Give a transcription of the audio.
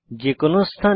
যে কোনো স্থানে